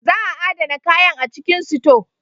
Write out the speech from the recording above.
Za a adana kayan a cikin sito.